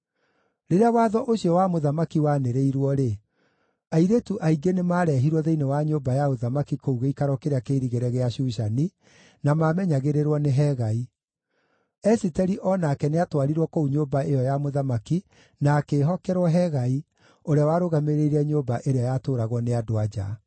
Rĩrĩa watho ũcio wa mũthamaki wanĩrĩirwo-rĩ, airĩtu aingĩ nĩmarehirwo thĩinĩ wa nyũmba ya ũthamaki kũu gĩikaro kĩrĩa kĩirigĩre gĩa Shushani, na maamenyagĩrĩrwo nĩ Hegai. Esiteri o nake nĩatwarirwo kũu nyũmba ĩyo ya mũthamaki na akĩĩhokerwo Hegai, ũrĩa warũgamĩrĩire nyũmba ĩrĩa yatũũragwo nĩ andũ-a-nja.